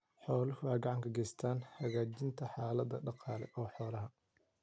Xooluhu waxay gacan ka geystaan ??hagaajinta xaaladda dhaqaale ee xoolaha.